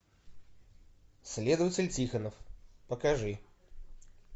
следователь тихонов покажи